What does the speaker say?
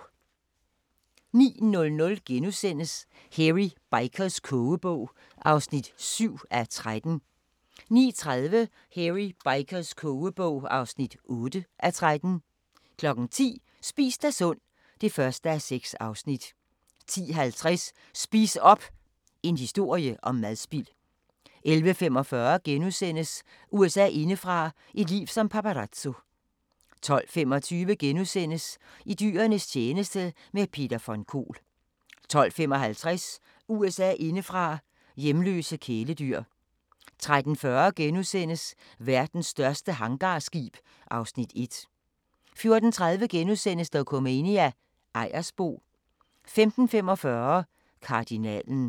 09:00: Hairy Bikers kogebog (7:13)* 09:30: Hairy Bikers kogebog (8:13) 10:00: Spis dig sund (1:6) 10:50: Spis op! – en historie om madspild 11:45: USA indefra: Et liv som paparazzo * 12:25: I dyrenes tjeneste – med Peter von Kohl * 12:55: USA indefra: Hjemløse kæledyr 13:40: Verdens største hangarskib (Afs. 1)* 14:30: Dokumania: Ejersbo * 15:45: Kardinalen